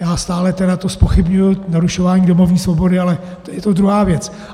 Já stále tedy to zpochybňuji - narušování domovní svobody, ale je to druhá věc.